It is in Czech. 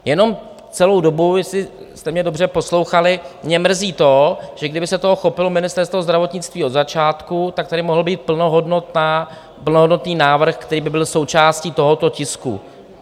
Jenom celou dobu, jestli jste mě dobře poslouchali, mě mrzí to, že kdyby se toho chopilo Ministerstvo zdravotnictví od začátku, tak tady mohl být plnohodnotný návrh, který by byl součástí tohoto tisku.